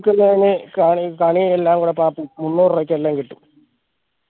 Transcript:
കണി കണി എല്ലാം കൂടെ പാപ്പു മൂന്നൂർ രൂപക്ക് എല്ലാം കിട്ടു